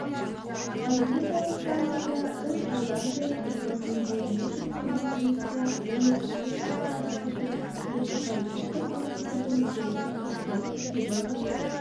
орбиталық станцияда үш айдан бері тұрып өздеріне жүктелген жұмысты мүлтіксіз атқарып келген екі паритет-космонавтардың кенет ұшты күйді ғайып